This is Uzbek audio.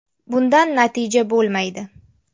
Bundan natija bo‘lmaydi.